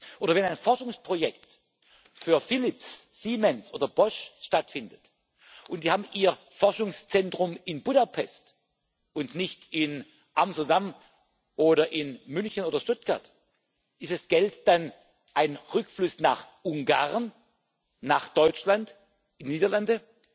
Oder wenn ein Forschungsprojekt für Philips, Siemens oder Bosch stattfindet, und die haben ihr Forschungszentrum in Budapest, und nicht in Amsterdam oder in München oder Stuttgart ist dieses Geld dann ein Rückfluss nach Ungarn, nach Deutschland, in die Niederlande?